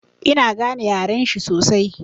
Ina gane yaren shi sosai.